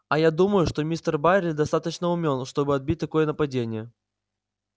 а я думаю что мистер байерли достаточно умён чтобы отбить такое нападение